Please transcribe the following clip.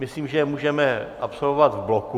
Myslím, že je můžeme absolvovat v bloku.